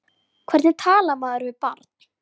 Hvernig talar maður við barn?